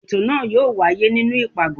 ètò náà yóò wáyé nínú ipágọ